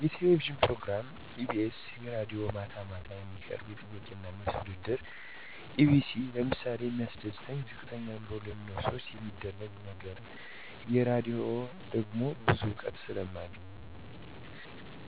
የቴሌቪዥን ፕሮግራም ኢቢኤስ የራድዬ ማታ ማታ የሚቀርብ የጥያቄና መልስ ውድድር ኢቢኤስ ለምሳሌ የሚያስደስተኝ ዝቅተኛ ኑሮ ለሚኖሩ ሰዎች የሚረዱት ነገር የራድሆ ደሞ ብዙ እውቀት ስለማገኝበት